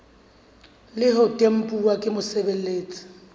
le ho tempuwa ke mosebeletsi